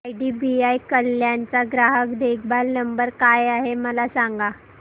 IDBI Kalyan चा ग्राहक देखभाल नंबर काय आहे मला सांगा